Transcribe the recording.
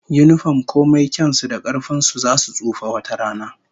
Yinifom komai kyan su da karfin su, zasu tsufa wata rana